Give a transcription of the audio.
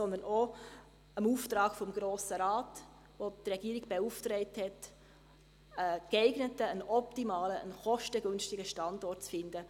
Wir kommen auch dem Auftrag des Grossen Rates nach, der die Regierung beauftragt hat, einen geeigneten, einen optimalen, einen kostengünstigen Standort zu finden.